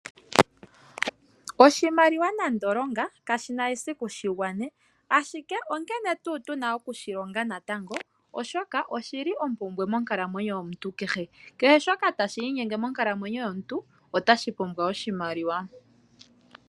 Oshimaliwa nande longa kashina esiku shigwane, ashike onkene tuu tuna okushilonga natango oshoka oshili ompumbwe monkalamwenyo yomuntu kehe. Kehe shoka tashi inyenge monkalamwenyo yomuntu otashi pumbwa oshimaliwa.